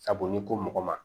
Sabu n'i ko mɔgɔ ma